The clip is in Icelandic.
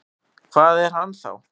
Hvað er hann þá?